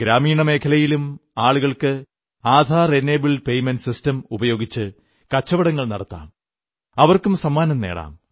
ഗ്രാമീണ മേഖലയിലും ആളുകൾക്ക് AEPS Aadhaar enabled payment system ഉപയോഗിച്ച് കച്ചവടങ്ങൾ നടത്താം അവർക്കും സമ്മാനങ്ങൾ നേടാം